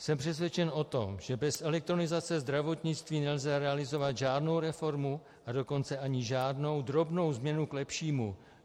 Jsem přesvědčen o tom, že bez elektronizace zdravotnictví nelze realizovat žádnou reformu, a dokonce ani žádnou drobnou změnu k lepšímu.